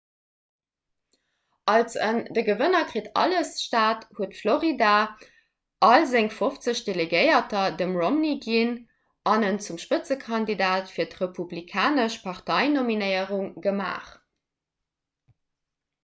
als en 'de gewënner kritt alles'-staat huet florida all seng fofzeg delegéierter dem romney ginn an en zum spëtzekandidat fir d'republikanesch parteinominéierung gemaach